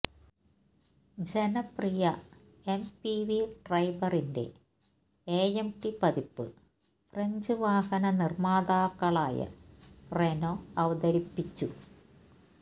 ജനപ്രിയ എംപിവി ട്രൈബറിന്റെ എഎംടി പതിപ്പ് ഫ്രഞ്ച് വാഹന നിര്മ്മാതാക്കളായ റെനോ അവതരിപ്പിച്ചു